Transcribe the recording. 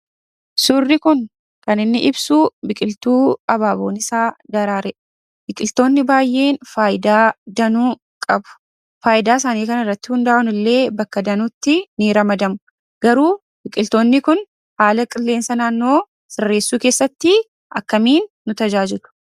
Suurri kun kan inni ibsuu biqiltuu abaaboon isaa daraare. Biqiltoonni baay'een faayidaa danuu qabu. Faayidaa isaanii kanarratti hundaa'uunillee bakka danuutti ni ramadamu. Garuu biqiltoonni kun haala qilleensa naannoo sirreesssuu keessattii akkamiin nu tajaajilu?